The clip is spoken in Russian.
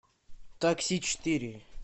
такси четыре